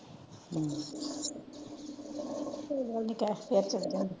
ਕੋਇ ਗੱਲ ਨੀ ਫੇਰ ਚਾਲੀ ਜਾਈਂ।